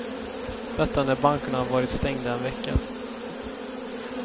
Detta när bankerna varit stängda en vecka.